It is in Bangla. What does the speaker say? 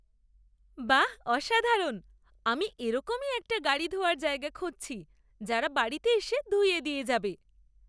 বাহ অসাধারণ! আমি এরকমই একটা গাড়ি ধোয়ার জায়গা খুঁজছি যারা বাড়িতে এসে ধুইয়ে দিয়ে যাবে।